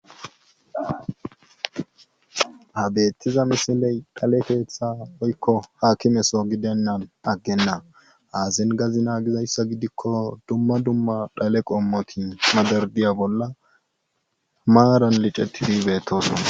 Ha beetiza misile dhale keeththa woykko hakimeso gidena agena hayssan hengidikko dumma dumma dhale qommoti madadariya bolla maaran liccetidi beetosona.